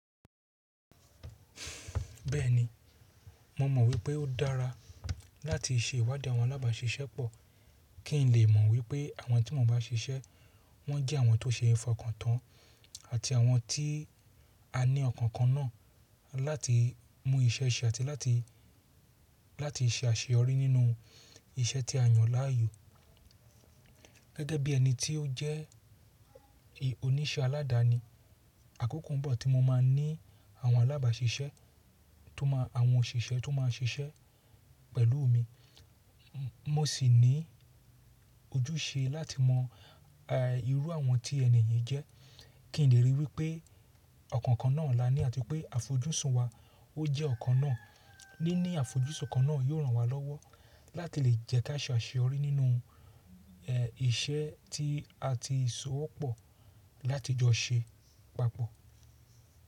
Bẹ́ẹ̀ni, mo mọ̀ wípé ó dára láti ṣe ìwádìí àwọn alábàáṣiṣẹ́pọ̀ kí n lè mọ̀ wípé àwọn tí mò ń bá ṣiṣẹ́ wọ́n jẹ́ àwọn tó ṣe é fọkàn tán àti àwọn tí a ní ọ̀kàn kan náà láti mú iṣẹ́ ṣe àti láti, láti ṣe àṣeyọrí nínú iṣẹ́ tí a yàn láàyò. Gẹ́gẹ́ bí ẹni tí ó jẹ́ oníṣẹ́ aládani, àkókò ń bọ̀ tí mo máa ní àwọn alábàáṣiṣẹ́ tó máa àwọn òṣìṣẹ́ tó máa ṣiṣẹ́ pẹ̀lú mi. Mo sì ní ojúṣe láti mọ irú àwọn tí ẹni yẹn jẹ́ kí n lè ríi wípé ọkàn kan náà la ní àti pé àfojúsùn wa ó jẹ́ ọ̀kan náà. Níní àfojúsùn kan náà yóò ràn wá lọ́wọ́ láti lè jẹ́ ká ṣe àṣeyọrí nínú iṣẹ́ tí a ti sowọ́ pọ̀ láti jọ ṣe papọ̀.